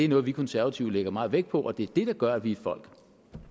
noget vi konservative lægger meget vægt på og det er det der gør at vi er et folk